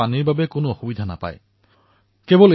পানীৰ যাতে কোনো সমস্যা নহয় সেয়া তেওঁ নিশ্চিত কৰিছিল